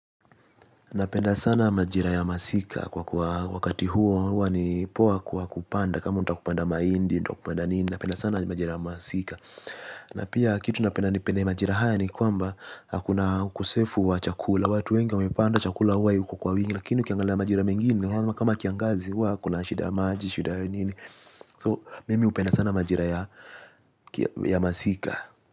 Napenda sana majira ya masika kwa kuwa wakati huo huwa ni poa kwa kupanda kama unataka kupanda mahindi unataka kupanda nini napenda sana majira ya masika. Napia kitu napenda ni pende majira haya ni kwamba hakuna ukosefu wa chakula watu wengi wamepanda chakula huwa iko kwa wingi lakini ukiangalia majira mengine kama kiangazi huwa kuna shida maji shida ya nini so mimi hupenda sana majira ya masika.